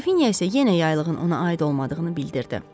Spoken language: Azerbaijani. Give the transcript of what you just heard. Qrafinya isə yenə yaylığın ona aid olmadığını bildirdi.